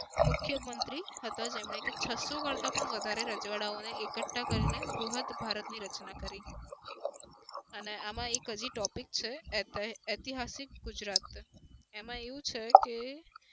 મુખ્ય મંત્રી હતા જેમને કે છસ્સો કરતા પણ વધારે રજવાડાઓને એકકઠા કરી બૃહદ ભારતની રચના કરી. અને આમાં એક હજી topic એત ઐતિહાસિક ગુજરાત એમાં એવું છે કે